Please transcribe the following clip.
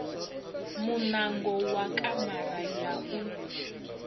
muṋango wa kamara ya u